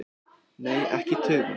Nei, ekki í tugum.